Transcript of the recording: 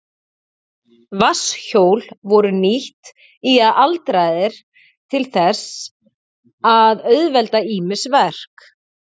Vatnshjól voru nýtt í aldaraðir til þess að auðvelda ýmis verk.